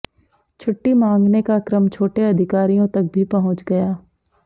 छुट्टी मांगने का क्रम छोटे अधिकारियों तक भी पहुंच गया